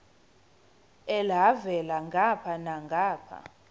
elhavela ngapha nangapha